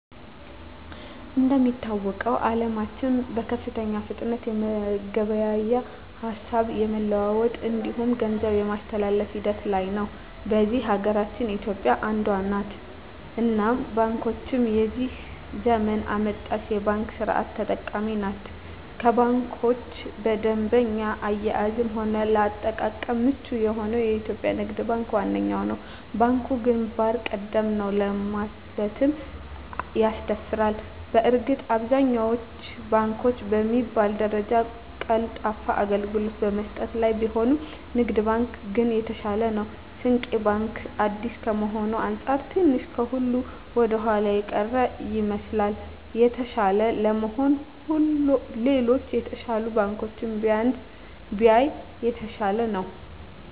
እንደሚታወቀዉ አለማችን በከፍተኛ ፍጥነት የመገበያየት፣ ሀሳብ የመለዋወጥ እንዲሁም ገንዘብ የማስተላፍ ሂደት ላይ ነዉ። በዚህ ሀገራችን ኢትዮጵያ አንዷ ነት እናም ባንኮቻችንም የዚህ ዘመን አመጣሽ የባንክ ስርት ተጠቃሚ ናት ከባንኮች በደንበኛ አያያዝም ሆነ ለአጠቃቀም ምቹ የሆነዉ የኢትዮጵያ ንግድ ባንክ ዋነኛዉ ነዉ። ባንኩ ግንባር ቀደም ነዉ ለማለትም ያስደፍራል በእርግጥ አብዛኛወቹ ባንኮች በሚባል ደረጃ ቀልጣፋ አገልግሎት በመስጠት ላይ ቢሆኑም ንግድ ባንክ ግን የተሻለ ነዉ። ስንቄ ባንክ አዲስ ከመሆኑ አንፃር ትንሽ ከሁሉ ወደኋላ የቀረ ይመስላል። የተሻለ ለመሆን ሌሎች የተሻሉ ባንኮችን ቢያይ የተሻለ ነዉ።